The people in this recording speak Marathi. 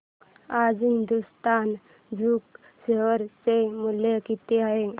आज हिंदुस्तान झिंक शेअर चे मूल्य किती आहे